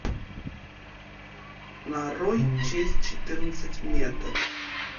нарой часть четырнадцать метод